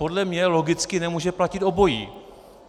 Podle mě logicky nemůže platit obojí.